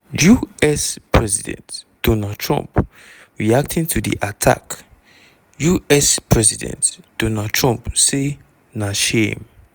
u.s. president donald trump reacting to di attack us president donald trump say: "na shame.